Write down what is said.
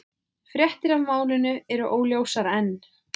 Fréttir af málinu eru óljósar enn